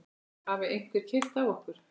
Hafði einhver keyrt á okkur?